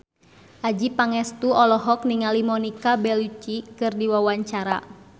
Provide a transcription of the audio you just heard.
Adjie Pangestu olohok ningali Monica Belluci keur diwawancara